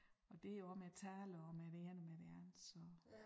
Og det jo også med taler og med det ene og med det andet så